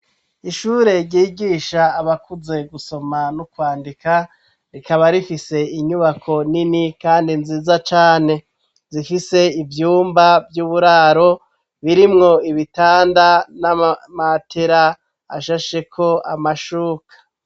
Ishure ryigisha abakuze gusoma no kwandika rikaba rifise inyubako nini kandi nziza cane ,zifise ivyumba vy'uburaro birimwo ibitanda n'amamatera ashasheko amashuka.